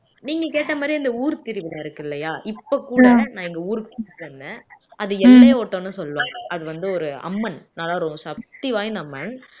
நீங்க கேட்ட மாறியே அந்த ஊர் திருவிழா இருக்கு இல்லையா இப்ப கூட நான் எங்க ஊருக்கு கூட்டிட்டு வந்தேன் அது எப்படி சொல்லுவாங்க அது வந்து ஒரு அம்மன் நல்லா ஒரு சக்தி வாய்ந்த அம்மன்